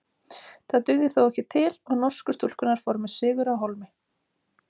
Það dugði þó ekki til og norsku stúlkurnar fóru með sigur á hólmi.